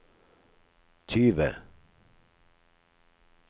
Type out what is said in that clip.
tyve